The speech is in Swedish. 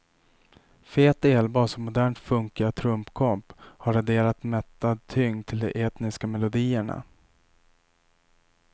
Fet elbas och modernt funkiga trumkomp har adderat mättad tyngd till de etniska melodierna.